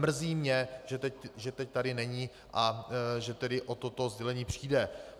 Mrzí mě, že teď tady není a že tedy o toto sdělení přijde.